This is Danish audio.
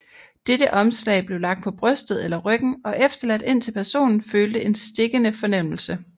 Dette omslag blev lagt på brystet eller ryggen og efterladt indtil personen følte en stikkende fornemmelse